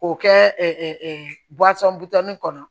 K'o kɛ butɔnni kɔnɔ